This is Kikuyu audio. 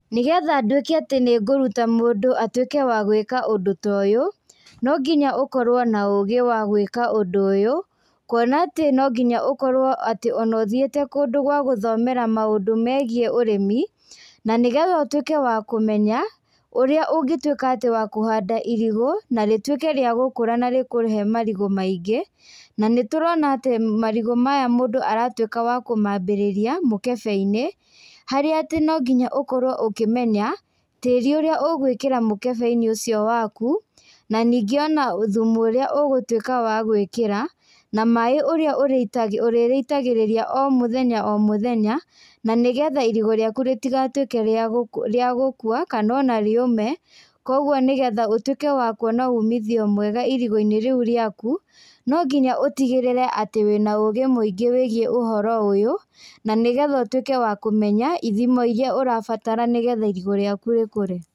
Nĩgetha nduĩke atĩ nĩngũruta mũndũ atuĩke wa gwĩka ũndũ ta ũyũ, nonginya ũkorwo na ũgĩ wa gwĩka ũndũ ũyũ, kuona atĩ nonginya ũkorwo atĩ ona ũthiĩte kũndũ gwa gũthomera maũndũ megiĩ ũrĩmi, na nĩgetha ũtuĩke a kũmenya, ũrĩa ũngĩtuĩka atĩ wa kũhanda irigũ, na rĩtuĩke rĩa gũkũra na rĩkũhe marigũ maingĩ, na nĩtũrona atĩ marigũ maya mũndũ aratuĩka wa kũmambĩrĩria mũkebeinĩ, harĩa atĩ nonginya ũkorwo ũkĩmenya, tĩri ũrĩa ũgwĩkĩra mũkebeinĩ ũcio waku, na ningĩ ona thumu ũrĩa ũgũtuĩka wa gwĩkĩra, na maĩ ũrĩa ũrĩitagĩ ũrĩrĩitagĩrĩria o mũthenya o mũthenya, na nĩgetha irigũ rĩaku rĩtigatuĩke ria gũku gũkwa, kana ona rĩũme, koguo nĩgetha ũtuĩke wa kuona umithio mwega irigũinĩ rĩũ rĩaku, nonginya ũtigĩrĩre atĩ wĩna ũgĩ mũingĩ wĩgiĩ ũhoro ũyũ, na nĩgetha ũtuĩke wa ũmenya ithimo iria ũrabatara nĩgetha irigũ rĩaku rĩkũre.